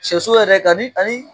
Sɛso yɛrɛ ka ni ani